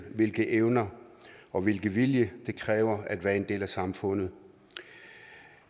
hvilke evner og hvilken vilje det kræver at være en del af samfundet